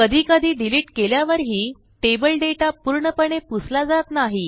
कधीकधी डिलिट केल्यावरही table data पूर्णपणे पुसला जात नाही